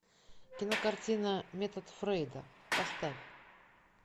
кинокартина метод фрейда поставь